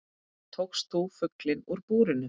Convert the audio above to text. Tókst þú fuglinn úr búrinu?